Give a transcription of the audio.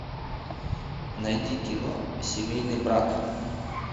найди кино семейный брак